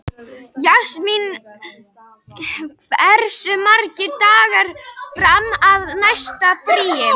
Jasmín, hversu margir dagar fram að næsta fríi?